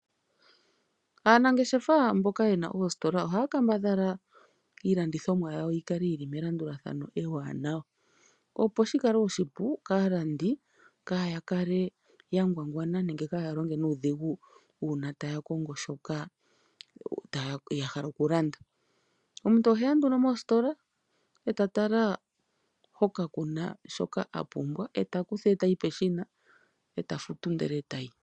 Aanangeshefa mboka yena oositola ohaya kambadhala iilandithomwa yawo yikale yili melandulathano ewanawa opo shikale oshipu kaalandi kayakale yangwangwana nenge kayalonge nuudhigu uuna taya kongo shoka yahala okulanda. Omuntu oheya nduno mositola e tatala hoka kuna shoka apumbwa e takutha e tayi peshina e tafuto ndele tayi.